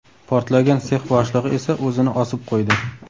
Portlagan sex boshlig‘i esa o‘zini osib qo‘ydi .